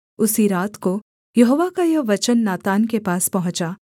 उसी रात को यहोवा का यह वचन नातान के पास पहुँचा